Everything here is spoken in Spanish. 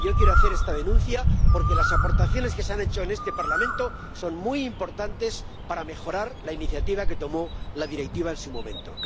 Y yo quiero hacer esta denuncia, porque las aportaciones que se han hecho en este Parlamento son muy importantes para mejorar la iniciativa que representó la Directiva en su momento.